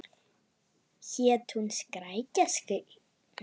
Hét hún Skrækja Skyr?